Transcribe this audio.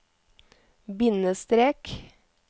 bindestrek